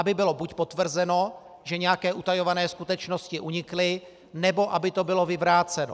Aby bylo buď potvrzeno, že nějaké utajované skutečnosti unikly, nebo aby to bylo vyvráceno.